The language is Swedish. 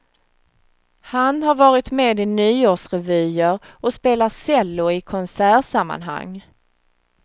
Han har varit med i nyårsrevyer och spelar cello i konsertsammanhang.